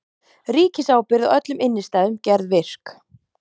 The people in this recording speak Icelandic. Ríkisábyrgð á öllum innistæðum gerð virk